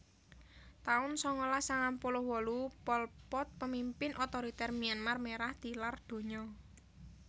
taun sangalas sangang puluh wolu Pol Pot pamimpin otoriter Myanmar Merah tilar donya